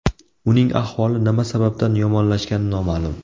Uning ahvoli nima sababdan yomonlashgani noma’lum.